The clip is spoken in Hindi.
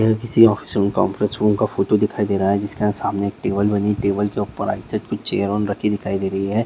यह किसी ऑफिस कांफ्रेंस रूम का फोटो दिखाई दे रहा है जिसके यहाँ सामने एक टेबल बनी है टेबल के ऊपर दिखाई दे रही है।